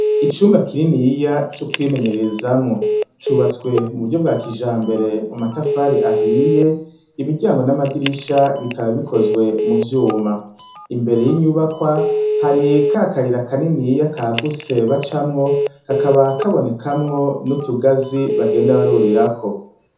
Icumba kininiya co kwimenyererezamwo. Cubatse mu buryo bwa kijambere, mu matafari ahiye, imiryango n'amadirisha bikaba bikozwe mu vyuma. Imbere y'inyubakwa, hari ka kayira kaniniya kagutse bacamwo, kakaba kabonekamwo n'utugazi bagenda barurirako.